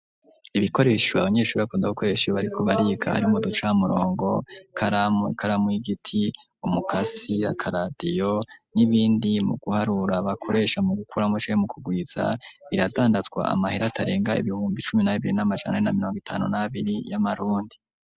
ibikoresho abanyeshuri bakunda gukoresha iyo bariko bariga harimwo ducamurongo nk,ikaramu ikaramu y'igiti umukasi n,akaradiyo n'ibindi mu guharura bakoresha mu gukora canke mu kugwiza biradandazwa amahera atarenga ibihumbi cumi na bibiri n'amajana ane na mirongo itanu n'abiri y'amarundi.